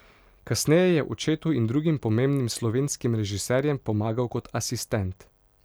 Kasneje je očetu in drugim pomembnim slovenskim režiserjem pomagal kot asistent.